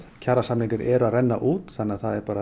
kjarasamningar eru að renna út þannig að það er